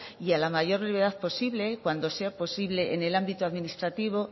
y a la mayor brevedad posible cuando sea posible en el ámbito administrativo